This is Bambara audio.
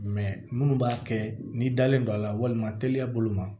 minnu b'a kɛ n'i dalen don a la walima teliya bolo ma